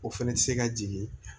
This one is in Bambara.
O fɛnɛ bɛ se ka jigin